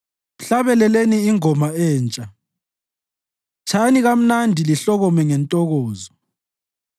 Mhlabeleleni ingoma entsha; tshayani kamnandi lihlokome ngentokozo.